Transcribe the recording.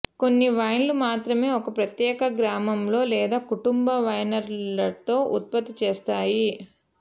కొన్ని వైన్లు మాత్రమే ఒక ప్రత్యేక గ్రామంలో లేదా కుటుంబ వైన్యార్డ్లో ఉత్పత్తి చేస్తాయి